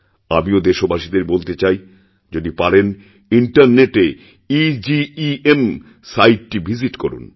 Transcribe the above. আমিও দেশবাসীদের বলতে চাই যদি পারেনইন্টারনেটে ইজিইএম সাইটটি ভিজিট করুন